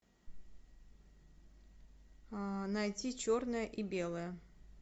найти черное и белое